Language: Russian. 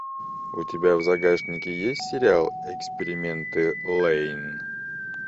у тебя в загашнике есть сериал эксперименты лэйн